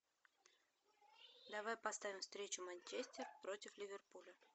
давай поставим встречу манчестер против ливерпуля